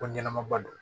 Ko ɲɛnɛma ba don